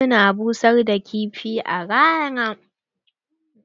Wasu na busar da kifi a rana.